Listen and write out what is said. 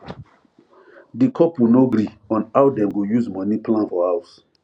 di couple no gree on how dem go use money plan for house